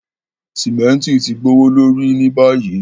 Símẹ̀ntì ti gbowolorí ní bayí.